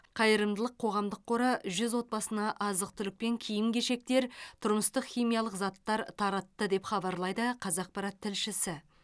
қайырымдылық қоғамдық қоры жүз отбасына азық түлік пен киім кешектер тұрмыстық химиялық заттар таратты деп хабарлайды қазақпарат тілшісі